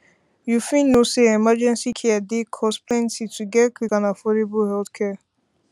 you fit know say emergency care dey cost plenty to get quick and affordable healthcare